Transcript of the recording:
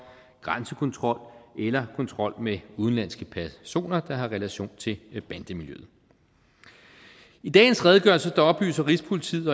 grænsekontrol eller kontrol med udenlandske personer der har relation til bandemiljøet i dagens redegørelse oplyser rigspolitiet